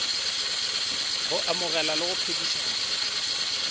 go amogelana le go phedišana